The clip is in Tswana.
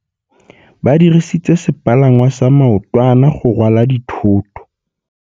Ba dirisitse sepalangwasa maotwana go rwala dithôtô.